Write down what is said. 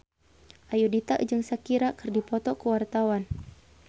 Ayudhita jeung Shakira keur dipoto ku wartawan